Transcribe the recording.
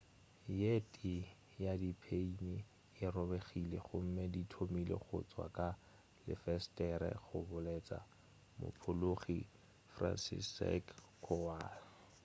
ye tee ya di pheini e robegile gomme di thomile go tšwa ka lefesetere go boletše mophologi franciszek kowal